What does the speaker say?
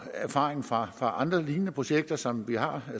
erfaringer fra andre lignende projekter som vi har